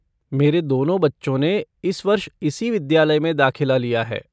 मेरे दोनों बच्चों ने इस वर्ष इसी विद्यालय में दाखिला लिया है।